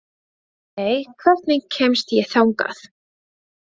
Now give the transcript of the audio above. Ljóney, hvernig kemst ég þangað?